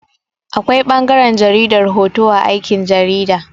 Akwai ɓangaran jaridar hoto a aikin jarida.